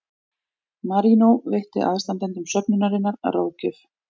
Marínó veitti aðstandendum söfnunarinnar ráðgjöf